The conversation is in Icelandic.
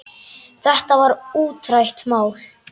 Þetta var útrætt mál.